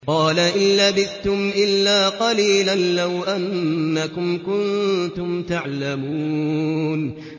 قَالَ إِن لَّبِثْتُمْ إِلَّا قَلِيلًا ۖ لَّوْ أَنَّكُمْ كُنتُمْ تَعْلَمُونَ